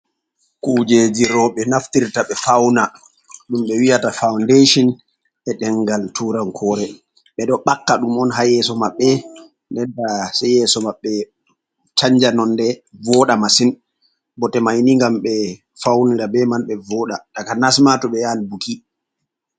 Kuujeeji roɓe naftirta ɓe fawna, ɗum ɓe wi'ata fawndeshon e ɗengal tuurankoore, ɓe ɗo ɓakka ɗum on ha yeeso maɓɓe, nden ta se yeeso maɓɓe chanja nonde, vooɗa masin. Bote mai ni ngam ɓe fawnira be man, ɓe vooɗa, takanas ma to ɓe yahan buki.